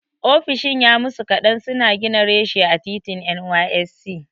Ofishin ya musu kaɗan suna gina reshe a titin NYSC.